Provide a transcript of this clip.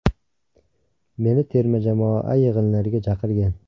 Meni terma jamoa yig‘inlariga chaqirgan.